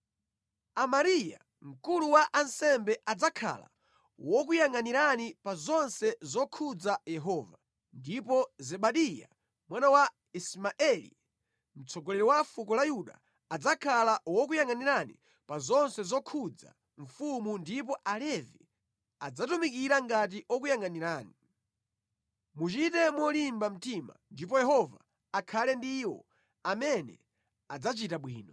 “Amariya, mkulu wa ansembe adzakhala wokuyangʼanirani pa zonse zokhudza Yehova, ndipo Zebadiya mwana wa Ismaeli, mtsogoleri wa fuko la Yuda, adzakhala wokuyangʼanirani pa zonse zokhudza mfumu ndipo Alevi adzatumikira ngati okuyangʼanirani. Muchite molimba mtima ndipo Yehova akhale ndi iwo amene adzachita bwino.”